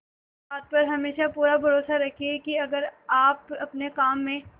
इस बात पर हमेशा पूरा भरोसा रखिये की अगर आप अपने काम में